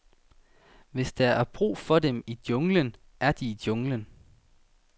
Hvis der er brug for dem i junglen, er de i junglen.